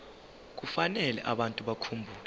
kufanele abantu bakhumbule